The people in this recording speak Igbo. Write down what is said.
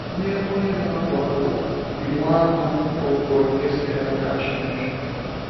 Nye onye na-abụ abụ, iwu ahụ bụ onyinye sitere n’aka Chineke.